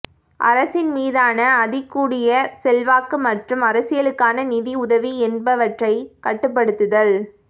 அரசின் மீதான அதிகூடிய செல்வாக்கு மற்றும் அரசியலுக்கான நிதியுதவி என்பவற்றை கட்டுப்படுத்துதல்